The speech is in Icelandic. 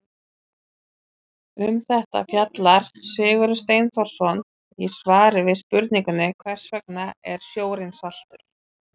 Um þetta fjallar Sigurður Steinþórsson í svari við spurningunni Hvers vegna er sjórinn saltur?